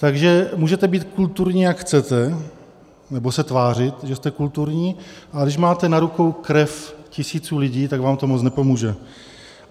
Takže můžete být kulturní, jak chcete, nebo se tvářit, že jste kulturní, ale když máte na rukou krev tisíců lidí, tak vám to moc nepomůže.